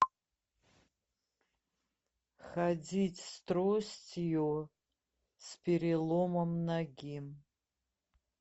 ходить с тростью с переломом ноги